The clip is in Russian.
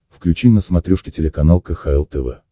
включи на смотрешке телеканал кхл тв